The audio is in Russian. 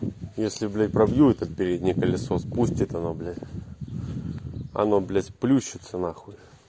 если блять пробью этот переднее колесо спустился оно блять она блять сплющится нахуй